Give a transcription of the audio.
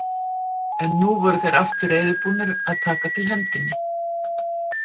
En nú voru þeir aftur reiðubúnir að taka til hendinni.